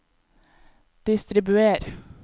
distribuer